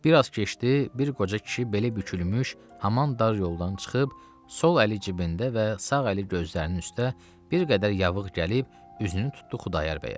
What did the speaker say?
Biraz keçdi, bir qoca kişi beli bükülmüş, haman dar yoldan çıxıb, sol əli cibində və sağ əli gözlərinin üstə, bir qədər yavığ gəlib üzünü tutdu Xudayar bəyə.